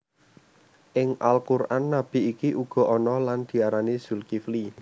Ing Al Quran nabi iki uga ana lan diarani Zulkifli